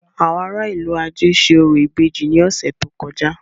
Àwọn ará a ìlú-ajé ṣe orò ìbejì ní ọ̀sẹ̀ tó kọjá.